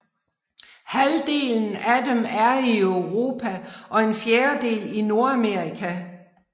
Halvdelen af dem er i Europa og en fjerdedel i Nordamerika